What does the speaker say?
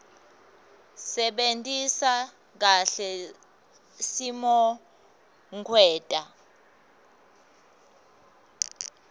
sebentisa kahle simokwenta